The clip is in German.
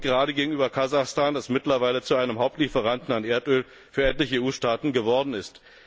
Auch und gerade gegenüber Kasachstan, das mittlerweile zu einem Hauptlieferanten von Erdöl für etliche EU Staaten geworden ist.